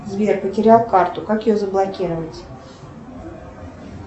сбер потерял карту как ее заблокировать